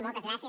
moltes gràcies